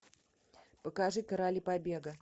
покажи короли побега